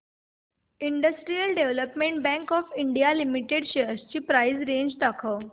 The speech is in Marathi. industrial development bank of India limited shares ची प्राइस रेंज दाखव